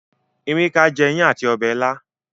Emeka jé iyán àti Ọbẹ̀ ìla.